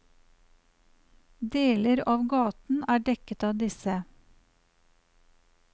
Deler av gaten er dekket av disse.